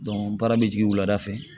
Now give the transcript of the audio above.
n baara bɛ jigin wulada fɛ